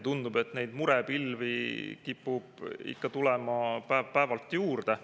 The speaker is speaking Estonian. Tundub, et neid murepilvi kipub ikka tulema päev-päevalt juurde.